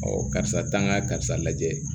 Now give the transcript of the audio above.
karisa ta ka karisa lajɛ